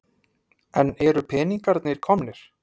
En eru peningarnir komnir?